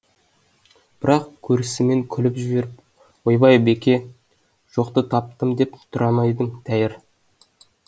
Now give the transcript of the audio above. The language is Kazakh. бірақ көрісімен күліп жіберіп ойбай беке жоқты таптым деп тұра ма едің тәйер